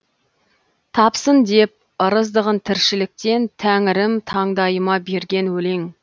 тапсын деп ырыздығын тіршіліктен тәңірім таңдайыма берген өлең